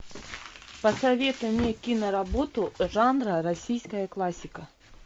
посоветуй мне киноработу жанра российская классика